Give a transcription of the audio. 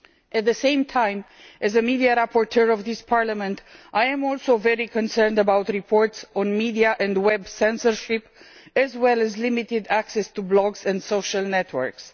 At the same time, as the media rapporteur for this Parliament, I am also very concerned about reports on media and web censorship, as well as limited access to blogs and social networks.